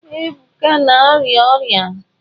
Ebuka na-arịa ọrịa.